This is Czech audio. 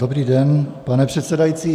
Dobrý den, pane předsedající.